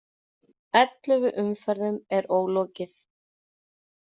Ellefu umferðum er ólokið